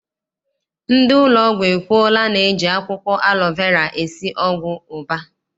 Ndị ụlọọgwụ ekwuola na eji akwụkwọ alọ vera esi ọgwụ ụba.